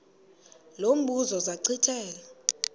lo mbuzo zachithela